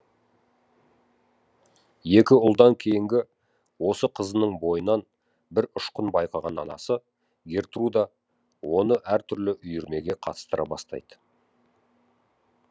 екі ұлдан кейінгі осы қызының бойынан бір ұшқын байқаған анасы гертруда оны әртүрлі үйірмеге қатыстыра бастайды